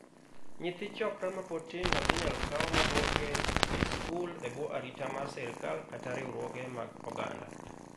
Nyithi 'chokra' mapod tindo inyal kaw ma duoke e skul e bwo arita mar sirkal kata riwruoge mag oganda.